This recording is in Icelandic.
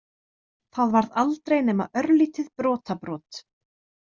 Það varð aldrei nema örlítið brotabrot.